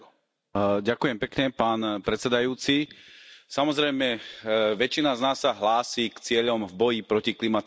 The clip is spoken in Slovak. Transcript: Pán predsedajúci, samozrejme väčšina z nás sa hlási k cieľom boja proti klimatickým zmenám.